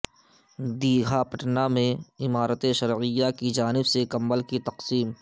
دیگھا پٹنہ میں امارت شرعیہ کی جانب سے کمبل کی تقسیم